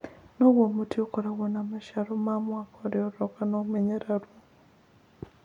Nĩguo mũtĩ ũkorũo na maciaro ma mwaka ũrĩa ũroka, nĩ ũmenyagĩrĩrũo.